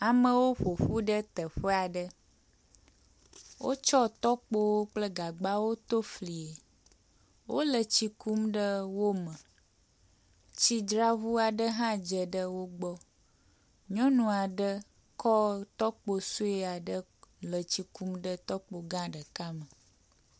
Amewo ƒoƒu ɖe teƒe aɖe. Wotsɔ tɔkpo kple gagbawo to flie. Wole tsi kum ɖe wo me. Tsidzraŋu aɖe hã dze ɖe wogbɔ. Nyɔnu aɖe kɔ tɔkpo sɔe le kɔ tsi kum ɖe tɔkpo gã ɖeka me